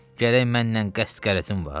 Gərək mənnən qəsd qərəzin var?